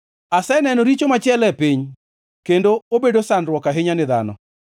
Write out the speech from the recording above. Aseneno richo machielo e piny, kendo obedo sandruok ahinya ni dhano: